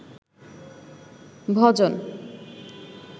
ভজন